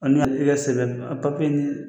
An sɛbɛn a papiye ɲini.